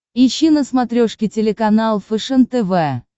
ищи на смотрешке телеканал фэшен тв